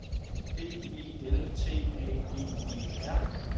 D E L T A G E R